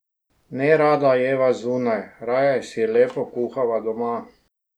Nerada jeva zunaj, raje si lepo kuhava doma.